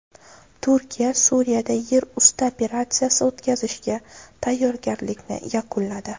Turkiya Suriyada yer usti operatsiyasi o‘tkazishga tayyorgarlikni yakunladi.